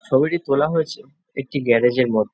ছবিটি তোলা হয়েছে একটি গ্যারাজের মধ্যে।